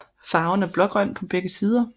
Farven er blågrøn på begge sider